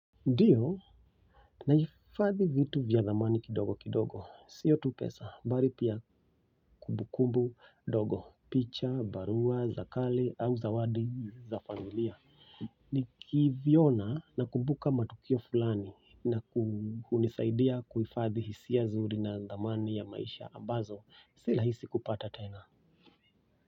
Ndiyo, naifadhi vitu vya dhamani kidogo kidogo, siyo tu pesa, bali pia kumbu kumbu ndogo, picha, barua za kale, au zawadi, za familia. Ni kiviona na kumbuka matukio fulani na hunisaidia kuhifadhi hisia nzuri na dhamani ya maisha ambazo, si rahisi kupata tena.